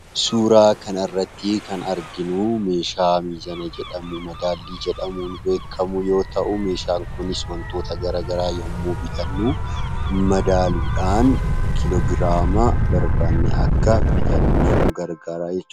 Suuraa kana irratti kan arginu, meeshaa safartuu jedhamuun beekamu yoo ta'u, meeshaan kunis wantoota garaagaraa yoommuu bitannu madaaluudhan kiloogiraama barbannee akka bitannuf nu gargara jechuudha.